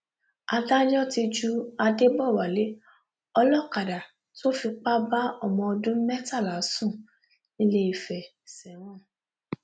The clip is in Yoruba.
adájọ ti ju adébọwálé olókàdá tó fipá bá ọmọ ọdún mẹtàlá sùn nìléèfẹ sẹwọn